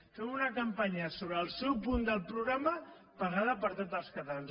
fem una cam·panya sobre el seu punt del programa pagada per tots els catalans